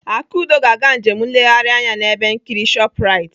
Akudo ga-aga njem nleghari anya n'ebe nkiri Shoprite.